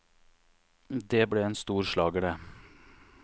Det ble en stor slager, det.